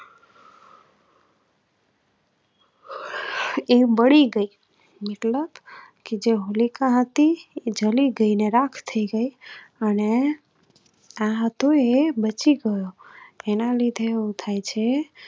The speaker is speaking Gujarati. એ બળી ગઈ. મતલબ જે હોલિકા હતી જલી ગઈ ને રાખ થઈ ગઈ અને. આ હતો એ બચી ગયો. એના લીધે એવું થાય છે